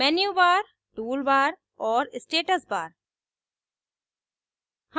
menubar menubar toolbar toolbar और status bar status bar